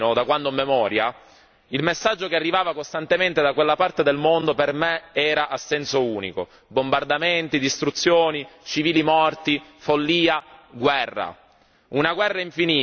Sin da quando ero bambino, da quando ho memoria, il messaggio che arrivava costantemente da quella parte del mondo per me era a senso unico bombardamenti, distruzioni, civili morti, follia, guerra.